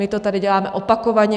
My to tady děláme opakovaně.